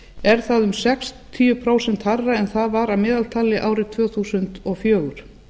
er það um sextíu prósent hærra en það var að meðaltali árið tvö þúsund og fjögur